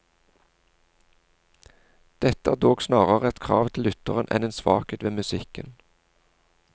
Dette er dog snarere et krav til lytteren enn en svakhet ved musikken.